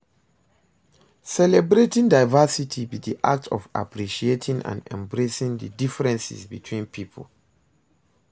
celebrating diversity be di act of appreciating and embracing di differences between people.